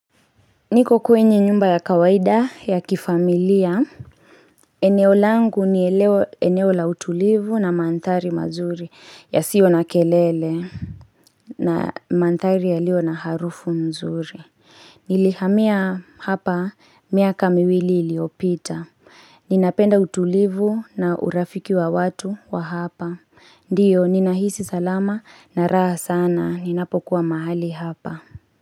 Niko kwenye nyumba ya kawaida ya kifamilia eneo langu ni eleo eneo la utulivu na manthari mazuri ya sio na kelele na manthari ya lio na harufu mzuri Nilihamia hapa miaka miwili iliopita Ninapenda utulivu na urafiki wa watu wa hapa Ndiyo ninahisi salama na raha sana ninapo kuwa mahali hapa.